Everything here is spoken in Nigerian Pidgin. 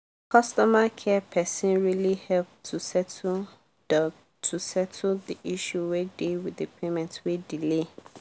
customer care person really help to settle the to settle the issue wey dey with the payment wey delay.